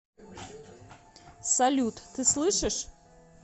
салют ты слышишь